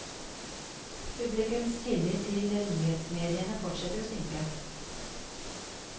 Publikums tillit til nyhetsmediene fortsetter å synke.